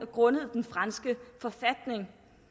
grundet den franske forfatning